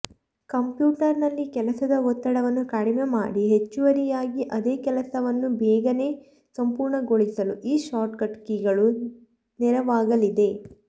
ಕಂಪ್ಯೂಟರ್ನಲ್ಲಿ ಕೆಲಸದ ಒತ್ತಡವನ್ನು ಕಡಿಮೆ ಮಾಡಿ ಹೆಚ್ಚುವರಿಯಾಗಿ ಅದೇ ಕೆಲಸವನ್ನು ಬೇಗನೇ ಸಂಪೂರ್ಣಗೊಳಿಸಲು ಈ ಶಾರ್ಟ್ಕಟ್ ಕೀಗಳು ನೆರವಾಗಲಿದೆ